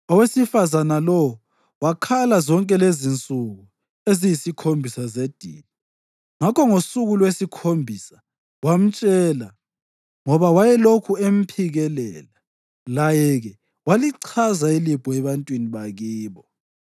Owesifazane lowo wakhala zonke lezinsuku eziyisikhombisa zedili. Ngakho ngosuku lwesikhombisa wamtshela, ngoba wayelokhu emphikelela. Laye-ke walichaza ilibho ebantwini bakibo.